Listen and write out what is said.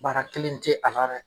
Baara kelen tɛ a